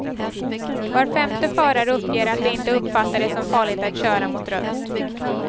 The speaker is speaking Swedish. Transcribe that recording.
Var femte förare uppger att de inte uppfattar det som farligt att köra mot rött.